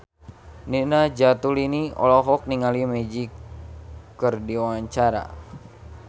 Nina Zatulini olohok ningali Magic keur diwawancara